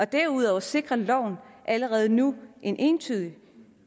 derudover sikrer loven allerede nu en entydig